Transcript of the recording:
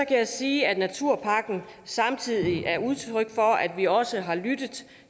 kan jeg sige at naturpakken samtidig er udtryk for at vi også har lyttet